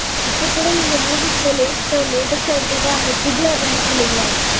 இப்போ கூட நீங்க movies -ல latest -ஆ எடுத்துக்கிட்டா இந்த triple R வந்துச்சு இல்லைங்களா